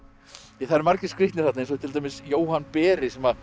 það eru margir skrýtnir þarna eins og til dæmis Jóhann beri sem